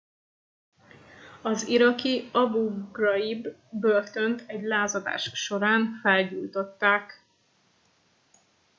az iraki abu ghraib börtönt egy lázadás során felgyújtották